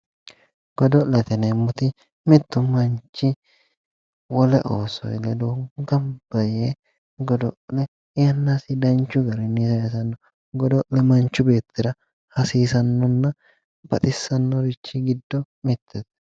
Godo'lete yineemoti mittu manichi wole oosoyi ledo ganibba yee godo'le yannasi danichu garinni sayisanno godo'le manichu beetira hasiisannonna baxissanno richi giddo mittete